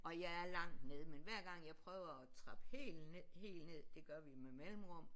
Og jeg er langt nede men hver gang jeg prøver at trappe helt ned helt ned det gør vi med mellemrum